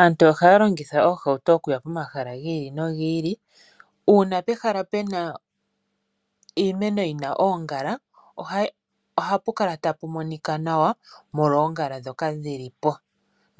Aantu ohaya longitha oohauto okuya pomahala giili nogili . Uuna pehala puna iimeno yina oongala , ohapu kala tapu monika nawa molwa oongala ndhoka dhilipo.